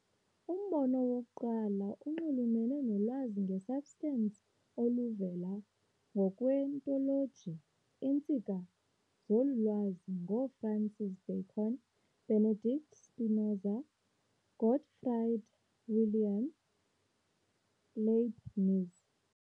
Umbono wokuqala unxulumene nolwazi nge-substance oluvela ngokwe-ontoloji, iintsika zolu lwazi ngoo-Francis Bacon, Benedict Spinoza, Gottfried Wilhelm Leibniz.